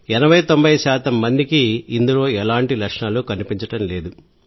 8090 శాతం మందికి ఇందులో ఎలాంటి లక్షణాలు కనిపించవు